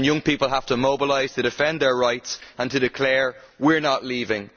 Young people have to mobilise to defend their rights and to declare we are not leaving.